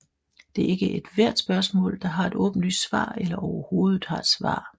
Det er ikke ethvert spørgsmål der har et åbenlyst svar eller overhovedet har et svar